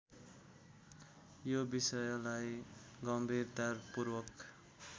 यो विषयलाई गम्भीरतापूर्वक